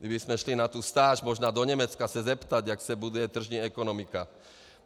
Kdybychom šli na tu stáž možná do Německa se zeptat, jak se buduje tržní ekonomika.